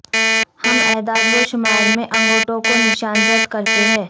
ہم اعداد و شمار میں انگوٹھوں کو نشان زد کرتے ہیں